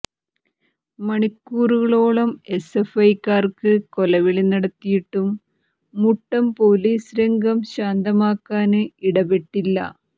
മണിക്കൂറുകളോളം എസ്എഫ്ഐക്കാര് കൊലവിളി നടത്തിയിട്ടും മുട്ടം പോലീസ് രംഗം ശാന്തമാക്കാന് ഇടപെട്ടില്ല